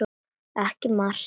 Ekki margt.